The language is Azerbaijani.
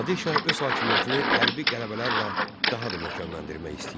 Nadir Şah öz hakimiyyətini hərbi qələbələrlə daha da möhkəmləndirmək istəyirdi.